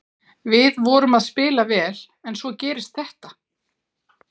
Við vorum að spila vel en svo gerist þetta.